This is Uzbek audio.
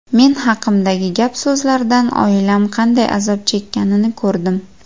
Men haqimdagi gap-so‘zlardan oilam qanday azob chekkanini ko‘rdim.